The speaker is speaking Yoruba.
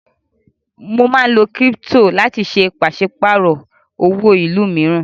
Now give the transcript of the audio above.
Mo máa ń lo kírípítò láti ṣe pàṣípàrò owó ìlú mìíràn.